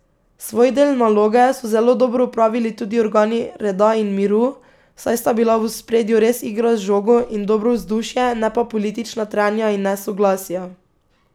Svoj del naloge so zelo dobro opravili tudi organi reda in miru, saj sta bila v ospredju res igra z žogo in dobro vzdušje, ne pa politična trenja in nesoglasja.